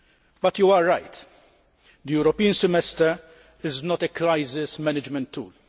But you are right the European Semester is not a crisis management tool.